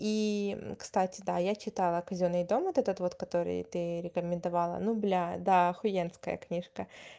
и кстати да я читала казённый дом этот вот который ты рекомендовала ну бля да ахуенская книжка